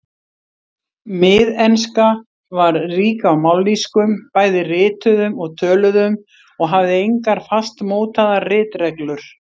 Miðenska var rík af mállýskum, bæði rituðum og töluðum, og hafði engar fastmótaðar ritreglur.